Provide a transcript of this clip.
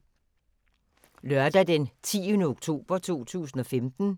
Lørdag d. 10. oktober 2015